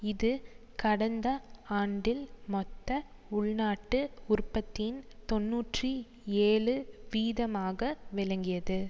இது கடந்த ஆண்டில் மொத்த உள்நாட்டு உற்பத்தியின் தொன்னூற்றி ஏழு வீதமாக விளங்கியது